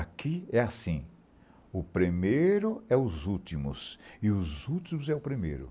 Aqui é assim, o primeiro é os últimos, e os últimos é o primeiro.